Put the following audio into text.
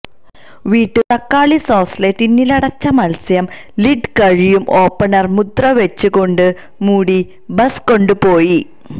വീട്ടിൽ തക്കാളി സോസ് ലെ ടിന്നിലടച്ച മത്സ്യം ലിഡ് കഴിയും ഓപ്പണർ മുദ്രവെച്ചു കൊണ്ട് മൂടി ബസ് കൊണ്ടുപോയി